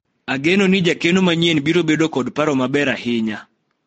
ageno ni jakeno manyien biro bedo kod paro maber ahinya